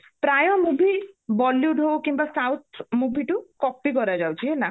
ପ୍ରାୟ movie bollywood ହୋଉ କିମ୍ବା south movie ଠୁ copy କରାଯାଉଛି ହେଲା